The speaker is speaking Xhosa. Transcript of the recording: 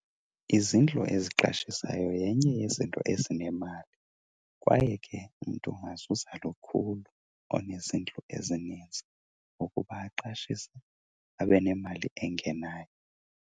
Izindlu eziqashisayo yenye yezinto ezinemali. Kwaye ke umntu angazuza lukhulu onezindlu ezininzi ngokuba aqashise abe nemali engenayo.